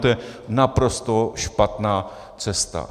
To je naprosto špatná cesta.